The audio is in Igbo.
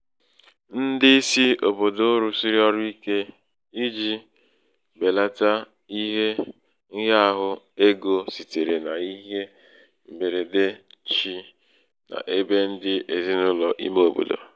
ndị isi òbòdò rụ̀sị̀rị ọrụ ike ijī bèlata mmetụta bèlata mmetụta ihe ṅ̀hịaāhụ̄ egō sitere n’ihe m̀bèrède chi n’ebe ndị ezinàụlọ̀ ime obodo.